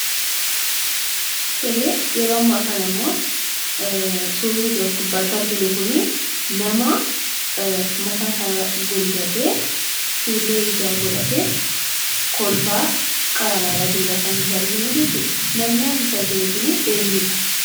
Tolee, yeroo ammaa kanammoo suurri nuti as gubbaatti arginu kunii nama mataasaa golgatee, fuullee ijaa godhatee, kolfaa qara laalaa jirudha kan nuti arginu jechuudha. Namni asitti arginu kuni eenyudha?